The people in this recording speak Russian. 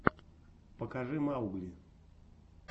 покажи маугли